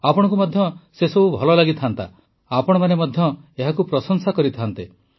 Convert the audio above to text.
ଆପଣମାନଙ୍କୁ ମଧ୍ୟ ଭଲ ଲାଗିଥାଆନ୍ତା ଆପଣମାନେ ମଧ୍ୟ ଏହାକୁ ପ୍ରଶଂସା କରିଥାଆନ୍ତେ